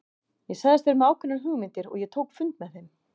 Ég sagðist vera með ákveðnar hugmyndir og ég tók fund með þeim.